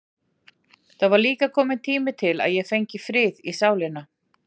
Það var líka kominn tími til að ég fengi frið í sálina.